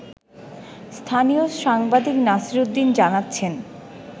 স্থানীয় সাংবাদিক নাসিরউদ্দীন জানাচ্ছেন